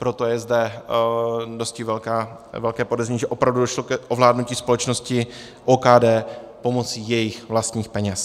Proto je zde dosti velké podezření, že opravdu došlo k ovládnutí společnosti OKD pomocí jejích vlastních peněz.